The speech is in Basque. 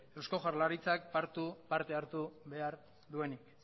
eusko jaurlaritzak parte hartu behar duenik